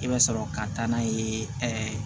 I bɛ sɔrɔ ka taa n'a ye ɛɛ